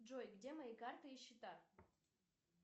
джой где мои карты и счета